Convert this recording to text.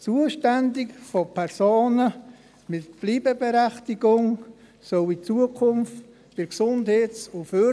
Zuständig für Personen mit Bleibeberechtigung soll künftig die GEF sein.